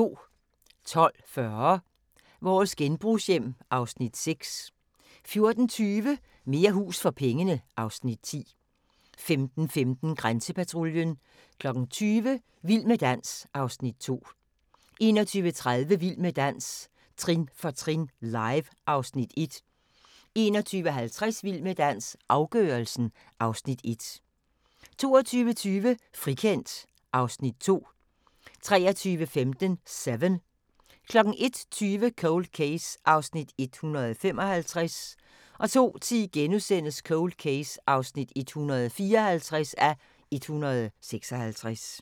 12:40: Vores genbrugshjem (Afs. 6) 14:20: Mere hus for pengene (Afs. 10) 15:15: Grænsepatruljen 20:00: Vild med dans (Afs. 2) 21:30: Vild med dans – trin for trin, live (Afs. 1) 21:50: Vild med dans – afgørelsen (Afs. 1) 22:20: Frikendt (Afs. 2) 23:15: Seven 01:20: Cold Case (155:156) 02:10: Cold Case (154:156)*